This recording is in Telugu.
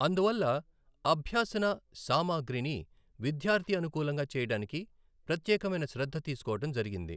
అందువల్ల అభ్యాసన సామగ్రిని విద్యార్థి అనుకులంగా చేయడానికి ప్రత్యేకమైన శ్రద్ధ తీసుకోవడం జరిగింది.